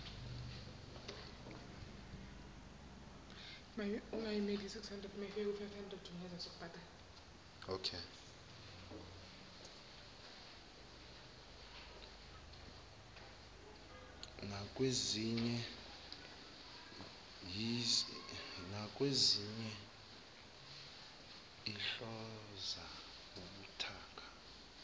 nakwezinye sihlonza ubuthaka